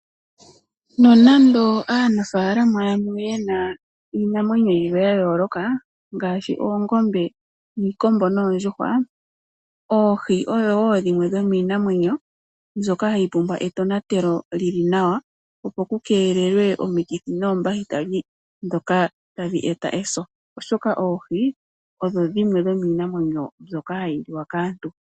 Nonande aanafaalama yamwe ye na iimanwenyo yimwe ya yooloka ngaashi oongombe, iikombo noondjuhwa. Oohi oyo wo dhimwe dhomiinamwenyo mbyoka hayi pumbwa etonatelo lili nawa opo ku keelelwe omikithi noombahiteli ndhoka ta dhi eta eso, oshoka oohi odho dhimwe dhomiinamwenyo mbyoka hayi liwa kaantu.